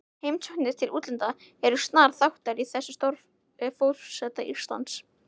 Heimsóknir til útlanda eru snar þáttur í starfi forseta Íslands.